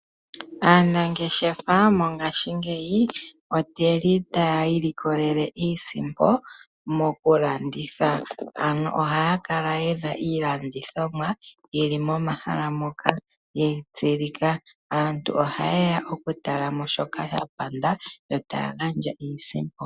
Aanangeshefa mongashingeyi otaya i likolele iisimpo mokulanditha. Ohaya kala ye na iilandithomwa ye li momahala moka ye yi tsilika. Aantu ohaye ya okutala mo shoka ya panda yo taya gandja iisimpo.